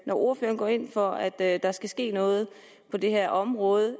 når ordføreren går ind for at der skal ske noget på det her område